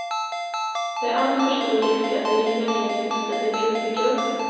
Det är alltför stor risk att de river ned just det de ville bygga upp.